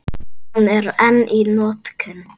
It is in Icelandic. Hún er enn í notkun.